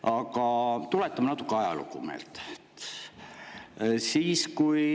Aga tuletame natuke ajalugu meelde.